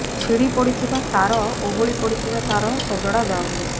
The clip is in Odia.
ଛିଡ଼ି ପଡିଥିବା ତାର ଓହଳି ପଡିଥିବା ତାର ସଜଡା ଯାଉନି